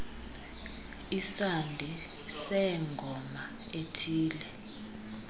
isandi seengoma esithe